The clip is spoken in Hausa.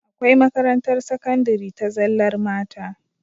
Akwai makarantar sakandari ta zallar mata